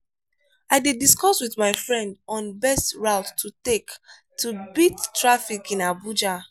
i dey discuss with my friend on best route to take to beat traffic in abuja.